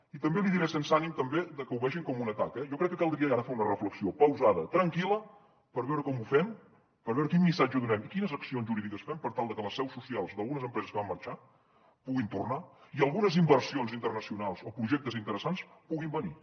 i també li diré sense ànim també que ho vegin com un atac eh jo crec que caldria ara fer una reflexió pausada tranquil·la per veure com ho fem per veure quin missatge donem i quines accions jurídiques fem per tal que les seus socials d’algunes empreses que van marxar puguin tornar i algunes inversions internacionals o projectes interessants puguin venir